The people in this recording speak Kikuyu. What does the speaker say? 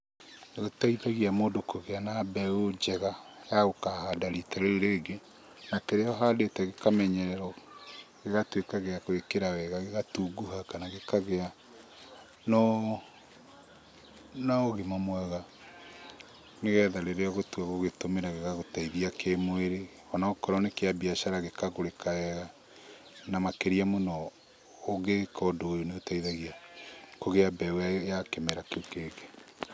Nĩgĩteithagia mũndu kũgĩa na mbeũ njega ya gũkahanda rita rĩu rĩngĩ, na kĩrĩa ũhandĩte gĩkamenyererwo, gĩgatuĩka gĩa gũĩkĩra wega, gĩgatunguha kana gĩkagĩa na ũgima mwega, nĩgetha rĩrĩa ũgũtua gũgĩtũmĩra gĩgagũteithia kĩmwĩrĩ, onokorwo nĩ kĩa mbiacara gĩkagũrĩka wega, na makĩria mũno ũgĩka ũndũ ũyũ nĩũteithagia kũgĩa mbeũ ya kĩmera kĩu kĩngĩ.